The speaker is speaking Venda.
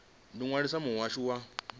ḓi ṅwalisa na muhasho wa